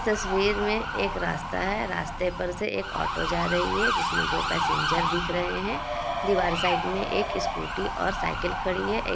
तस्वीर में एक रास्ता है| रास्ते पर से एक ऑटो जा रही है जिसमें दो पैसेंजर दिख रहे हैं| दीवार साइड पर एक स्कूटी और साइकिल खड़ी है| एक --